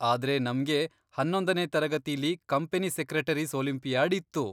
ಆದ್ರೆ ನಮ್ಗೆ ಹನ್ನೊಂದನೇ ತರಗತಿಲಿ ಕಂಪನಿ ಸೆಕ್ರೆಟರೀಸ್ ಓಲಿಂಪಿಯಾಡ್ ಇತ್ತು.